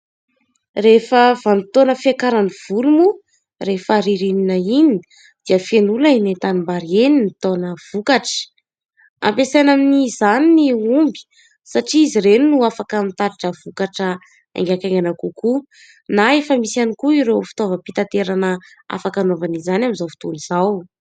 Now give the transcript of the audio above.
Rehefa vanim-potoana fiakaran'ny voly moa rehefa ririnina iny dia feno olona eny an-tanimbary eny mitaona vokatra. Ampiasaina amin'izany ny omby satria izy ireny no afaka mitatritra vokatra aingakaingana kokoa ; na efa misy ihany koa ireo fitaovam-pitaterana afaka anaovana izany amin'izao fotoana izao.